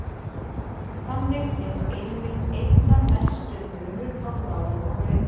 Þannig er einmitt einna mestur munur á bláu og rauðu.